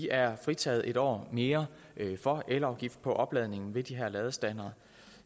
er fritaget en år mere for elafgift på opladning ved de her ladestandere